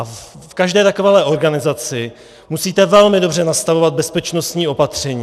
A v každé takovéhle organizaci musíte velmi dobře nastavovat bezpečnostní opatření.